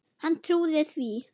Hann trúði því.